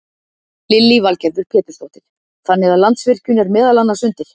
Lillý Valgerður Pétursdóttir: Þannig að Landsvirkjun er meðal annars undir?